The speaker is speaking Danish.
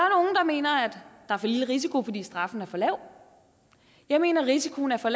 mener at der er for lille risiko fordi straffen er for lav jeg mener at risikoen er for